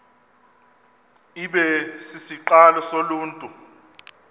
ibe sisiqalo soluntu